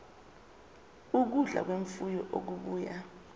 ukudla kwemfuyo okubuya